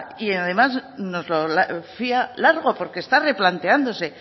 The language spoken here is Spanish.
y además nos lo fía largo porque está replanteándose